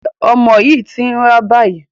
Ṣé ọmọ yín ti ń rá báyìí?